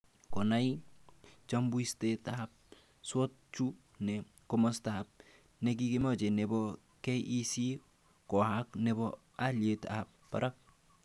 Konai chammbusitab SWOT chu, ne komosta nekimache nebo KEC koek nebo aliet ab barak